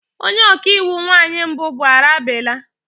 Onye ọka iwu nwanyị mbụ bụ Arabella.